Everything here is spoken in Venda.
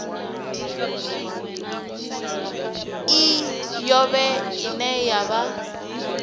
i yoṱhe ine ya vha